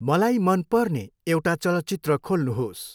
मलाई मन पर्ने एउटा चलचित्र खोल्नुहोस्।